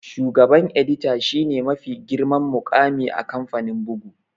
Shugaban edita shi ne mafi girman muƙami a kamfanin bugu